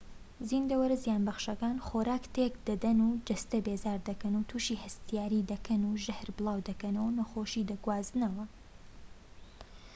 زیندەوەرە زیانبەخشەکان خۆراک تێك دەدەن و جەستە بێزار دەکەن و توشی هەستیاری دەکەن و ژەهر بڵاو دەکەنەوە و نەخۆشی دەگوازنەوە